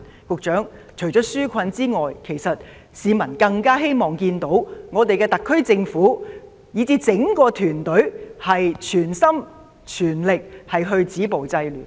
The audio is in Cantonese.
局長，除了紓困外，市民更希望看到特區政府以至整個團隊全心全力止暴制亂。